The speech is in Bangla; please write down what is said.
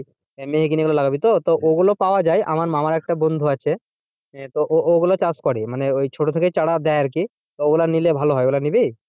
মেহগিনি ওগুলো লাগাবি তো ওগুলো পাওয়া যায় আমার মামার একটা বন্ধু আছে আহ তো ওইগুলোও চাষ করে মানে ওই ছোটো থেকেই চারা দেয় আর কি ওগুলো নিলে ভালো হয় ওগুলো নিবি?